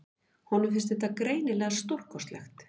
Honum fannst þetta greinilega stórkostlegt.